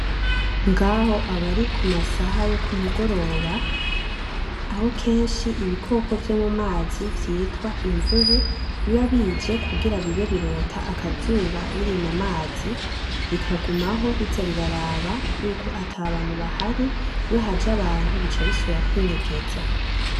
Ngahi aba ari ku masaha yo ku mugoroba ako kenshi ibikoko vyo mu mazi vyitwa imvubu biba bije kugira bibe birota akazuba biri mu mazi bikagumaho biza biraraba yuko atabantu bahari, iyo haje abantu bica bisubira kwinyegeza.